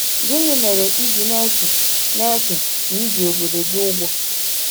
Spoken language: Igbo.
Gịnị mere i ji na-eche na na-eche na i ji obodo gị ụgwọ?